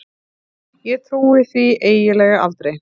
Ég trúi því eiginlega aldrei.